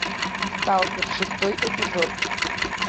сталкер шестой эпизод